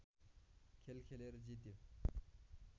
खेल खेलेर जित्यो